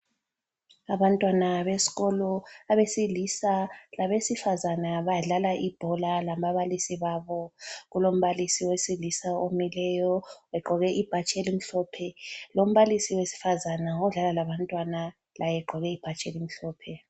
Abantwana besikolo abesilisa labesifazane badlala ibhola lababalisi babo. Kulombalisi wesilisa omileyo egqoke ibhatshi elimhlophe lombalisi wesifazana odlala labantwana laye egqoke ibhatshi elimhlophe.